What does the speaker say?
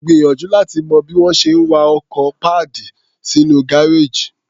Gbìyànjú láti mọ bí wọ́n ṣe ń wa ọkọ̀ padal sínú gáréèjì.